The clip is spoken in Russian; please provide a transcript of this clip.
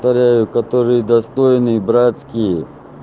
которые достойны братские